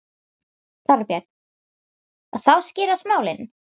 Þorbjörn: Og þá skýrast málin?